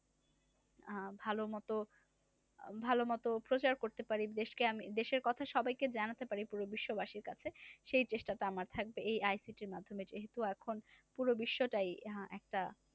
আহ ভালো মতো ভালো মত প্রচার করতে পারি দেশকে আমি দেশের কথা সবাইকে জানাতে পারি পুরো বিশ্ববাসীর কাছে। সেই চেষ্টাটা আমার থাকবে এই ICT র মাধ্যমে যে হতো এখন পুরো বিশ্বটাই আহ একটা